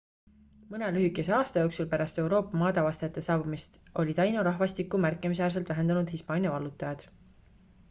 mõne lühikese aasta jooksul pärast euroopa maadeavastajate saabumist oli taino rahvastikku märkimisväärselt vähendanud hispaania vallutajad